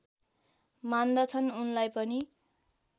मान्दछन् उनलाई पनि